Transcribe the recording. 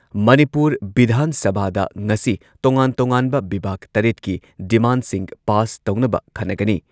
ꯃꯅꯤꯄꯨꯔ ꯚꯤꯙꯥꯟ ꯁꯚꯥꯗ ꯉꯁꯤ ꯇꯣꯉꯥꯟ ꯇꯣꯉꯥꯟꯕ ꯕꯤꯚꯥꯒ ꯇꯔꯦꯠꯀꯤ ꯗꯤꯃꯥꯟꯗꯁꯤꯡ ꯄꯥꯁ ꯇꯧꯅꯕ ꯈꯟꯅꯒꯅꯤ꯫